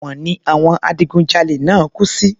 Èwọ̀n ni àwọn adigun jalè náà kú sí